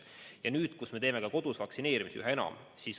Ja nüüd me teeme kodus vaktsineerimisi üha enam.